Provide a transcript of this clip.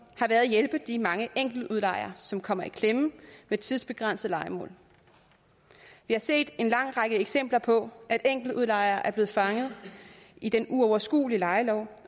har været at hjælpe de mange enkeltudlejere som kommer i klemme ved tidsbegrænsede lejemål vi har set en lang række eksempler på at enkeltudlejere er blevet fanget i den uoverskuelige lejelov